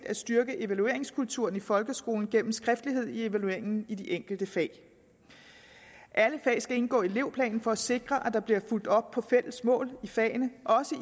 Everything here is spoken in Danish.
at styrke evalueringskulturen i folkeskolen gennem skriftlighed i evalueringen i de enkelte fag alle fag skal indgå i elevplanen for at det sikres at der bliver fulgt op på fælles mål i fagene også i